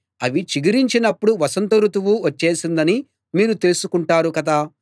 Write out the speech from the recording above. అవి చిగురించినప్పుడు వసంత రుతువు వచ్చేసిందని మీరు తెలుసుకుంటారు కదా